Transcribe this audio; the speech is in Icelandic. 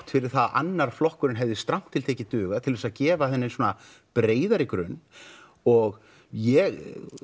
fyrir að annar flokkurinn hefði strangt til tekið dugað til að gefa henni svona breiðari grunn og ég